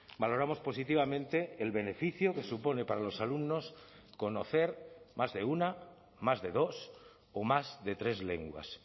valoramos positivamente el beneficio que supone para los alumnos conocer más de una más de dos o más de tres lenguas